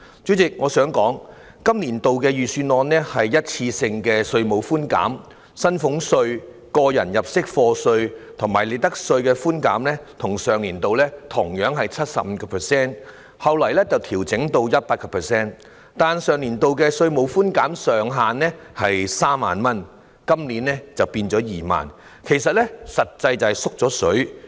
主席，我想指出，今個年度的預算案提供的是一次性的稅務寬減，薪俸稅、個人入息課稅和利得稅的寬減本來與上年度同樣是 75%， 後來調整至 100%， 但上年度的稅務寬減上限是3萬元，今年改為2萬元，實際上是"縮了水"。